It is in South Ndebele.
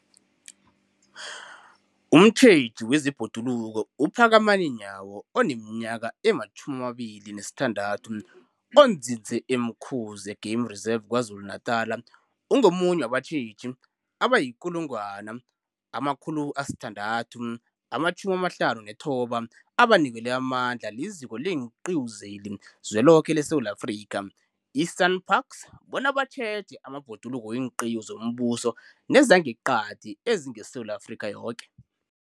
Umtjheji wezeBhoduluko uPhakamani Nyawo oneminyaka ema-26, onzinze e-Umkhuze Game Reserve KwaZulu-Natala, ungomunye wabatjheji abayi-1 659 abanikelwe amandla liZiko leenQiwi zeliZwe loke leSewula Afrika, i-SANParks, bona batjheje amabhoduluko weenqiwu zombuso nezangeqadi ezingeSewula Afrika yoke.